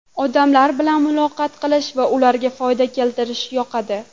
Odamlar bilan muloqot qilish va ularga foyda keltirish yoqadi.